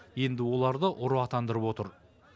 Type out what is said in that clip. енді оларды ұры атандырып отыр